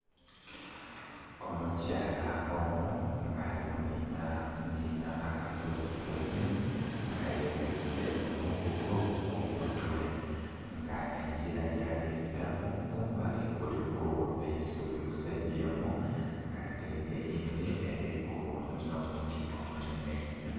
Omukyala omu nga ali kunhinhanhinha akasozisozi nga yetiise omugugu ku mutwe. Nga engila gyali kubitamu kumbali kuliku eisubi ku sayidi emu nga sayidi eyindhi eliku nh'omuti omunhenhe.